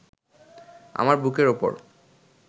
আমার বুকের ওপর